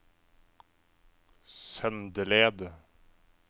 Søndeled